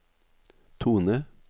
tone